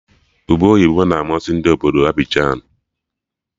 Ube oyibo na-amasị Ndị obodo Abịjan